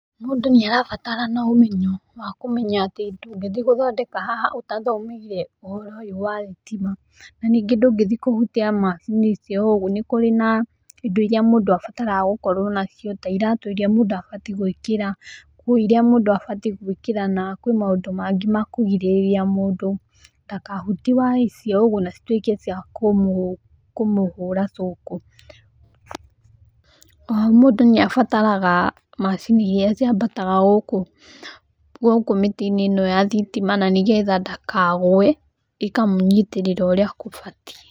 Mũndũ nĩ arabatarana ũmenyo wa kũmenya atĩ ndũngĩthi gũthondeka haha ũtathomeire ũhoro ũyũ wa thitima, na ningĩ ndũgĩthiĩ kũhutia macini icio oũguo, nĩ kũri na macini irĩa mũndũ abataraga gũkorwo nacio ta iratũ iria mũndũ abati gwĩkĩra, nguo iria mũndũ abatiĩ gwĩkĩra na kwĩ maũndũ mangĩ makũgirĩrĩa mũndũ, ndakahutie waya ici na citwĩke cia kũmũhũra cũku. Oho mũndũ nĩ abataraga macini iria ciambataga gũkũ mĩtĩ-inĩ ĩno ya thitima na nĩgetha ndakagũe, ikamũnyitĩrĩra ũrĩa kũbatiĩ.